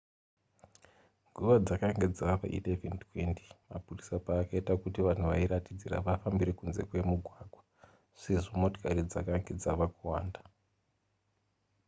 nguva dzakanga dzava 11:20 mapurisa paakaita kuti vanhu vairatidzira vafambire kunze kwemugwagwa sezvo motokari dzakanga dzava kuwanda